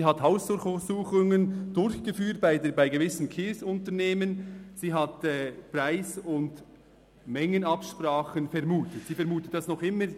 Sie hat bei gewissen Kiesunternehmen Hausdurchsuchungen durchgeführt, sie hat Preis- und Mengenabsprachen vermutet, und sie vermutet dies noch immer.